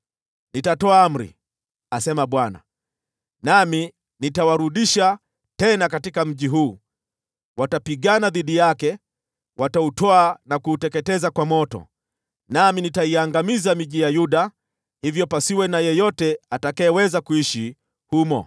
Nitatoa amri, asema Bwana , nami nitawarudisha tena katika mji huu. Watapigana dhidi yake, wautwae na kuuteketeza kwa moto. Nami nitaiangamiza miji ya Yuda hivyo pasiwe na yeyote atakayeweza kuishi humo.”